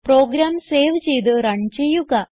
programme save ചെയ്ത് run ചെയ്യുക